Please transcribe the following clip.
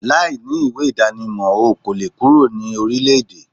Láì ní ìwé ìdánimọ̀, o kòle kúrò ní orílẹ-èdè